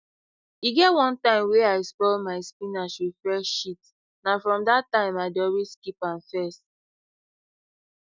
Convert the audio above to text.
e get one time wey i spoil my spinach with fresh shit na from that time i dey always keep am first